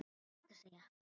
Hvað ertu að segja?